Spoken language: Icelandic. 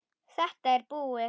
Þetta er búið